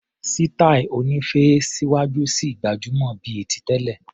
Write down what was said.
Sítáì oní féé níwájú ṣì gbajúmọ̀ bíi ti tẹ́lẹ̀.